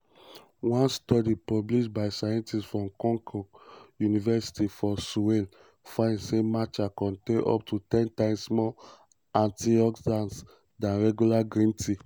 one study published by scientists from konkuk university for seoul find say matcha contain up to ten times more antioxidants dan regular green tea.